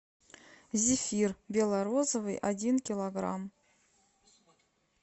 зефир бело розовый один килограмм